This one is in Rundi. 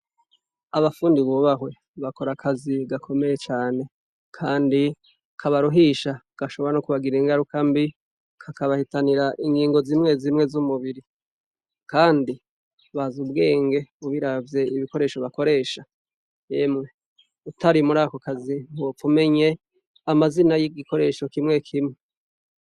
Abafundi bubahwe bakora akazi gakomeye cane, kandi kabaruhisha gashobora no kubagira ingaruka mbi kakabahitanira ingingo zimwe zimwe z'umubiri, kandi bazi ubwenge mubiravye ibikoresho bakoresha emwe utari muri ako kazi ntiwopfa umenye amazina y'igikoresho kimwe kimwe.